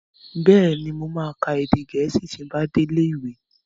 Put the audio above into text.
Bẹ́ẹ̀ni, mo ma ka èdè Gẹ̀ẹ́sì ti n bá dé ilé ìwé